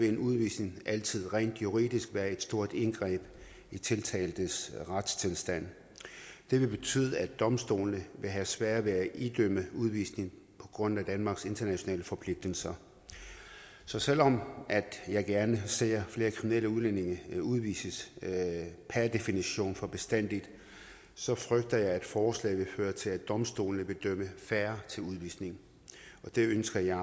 en udvisning altså rent juridisk være et stort indgreb i tiltaltes retstilstand det vil betyde at domstolene vil have sværere ved at idømme udvisning på grund af danmarks internationale forpligtelser så selv om jeg gerne ser at flere kriminelle udlændinge udvises per definition for bestandig så frygter jeg at forslaget vil føre til at domstolene vil dømme færre til udvisning og det ønsker jeg